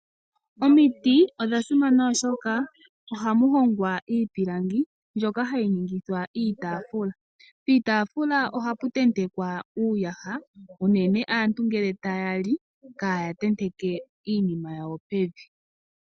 Omiti odha simana oshoka ohamu hongwa iipilangi mbyoka hayi ningithwa iitaafula. Piitaafula ohapu tentekwa uuyaha unene aantu ngele taya li kaaya tenteke iinima yawo pevi.